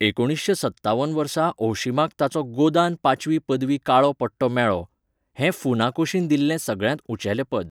एकुणीसशें सत्तावन वर्सा ओहशिमाक ताचो गोदान पांचवी पदवी काळो पट्टो मेळ्ळो, हें फुनाकोशीन दिल्लें सगळ्यांत उंचेलें पद.